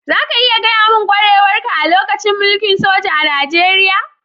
Za ka iya gaya mun kwarewar ka a lokacin mulki'n soja a'Nijeriya?